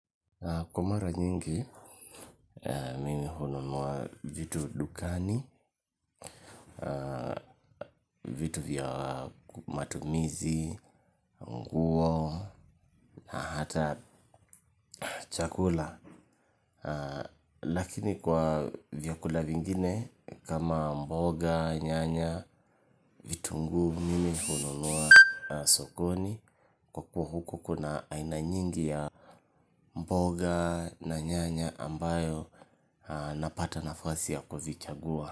Kwa mara nyingi, mimi hununua vitu dukani, vitu vya matumizi, nguo, na hata chakula. Lakini kwa vyakula vingine, kama mboga, nyanya, vitungu, mimi hununua sokoni, kwa kuwa huko kuna aina nyingi ya mboga na nyanya ambayo napata nafasi ya kuvichagua.